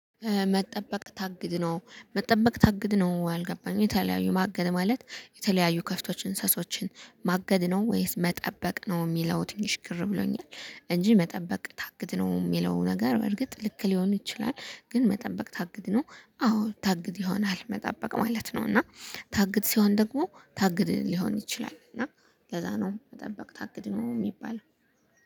መጠበቅ ታግድ ነው መጠበቅ ታግድ ነው አልገባኝ የተለያዩ ማገድ ማለት የተለያዩ ከብቶችን እንስሶችን ማገድ ነው ወይስ መጠበቅ ነው የሚለው ትንሽ ግር ብሎኛል። እንጂ መጠበቅ ታግድ ነው የሚለው ነገር በርግጥ ልክ ሊሆን ይችላል። ግን መጠበቅ ታግድ ነው አዎ ታግድ ይሆናል መጠበቅ ማለት ነው። እና ታግድ ሲሆን ደግሞ ታግድ ሊሆን ይችላል። እና ከዛ ነው መጠበቅ ታግድ ነው የሚባለው